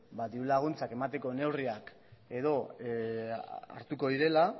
dirulaguntzak emateko neurriak edo hartuko direla